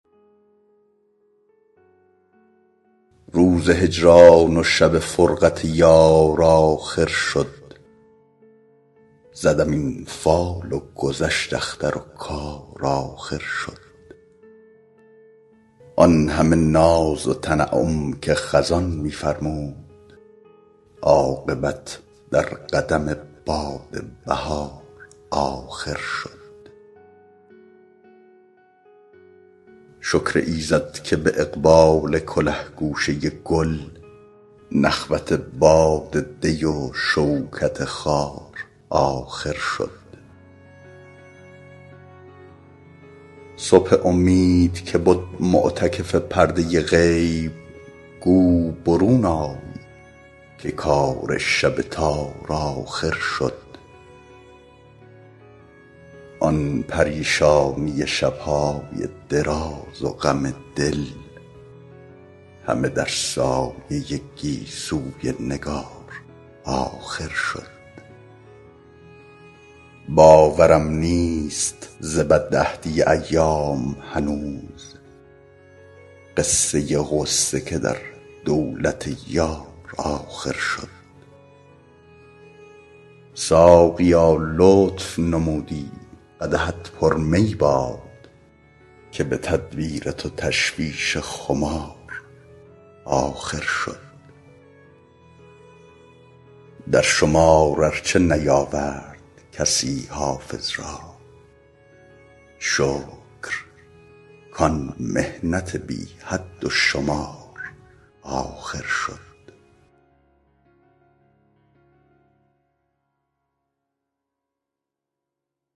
روز هجران و شب فرقت یار آخر شد زدم این فال و گذشت اختر و کار آخر شد آن همه ناز و تنعم که خزان می فرمود عاقبت در قدم باد بهار آخر شد شکر ایزد که به اقبال کله گوشه گل نخوت باد دی و شوکت خار آخر شد صبح امید که بد معتکف پرده غیب گو برون آی که کار شب تار آخر شد آن پریشانی شب های دراز و غم دل همه در سایه گیسوی نگار آخر شد باورم نیست ز بدعهدی ایام هنوز قصه غصه که در دولت یار آخر شد ساقیا لطف نمودی قدحت پر می باد که به تدبیر تو تشویش خمار آخر شد در شمار ار چه نیاورد کسی حافظ را شکر کان محنت بی حد و شمار آخر شد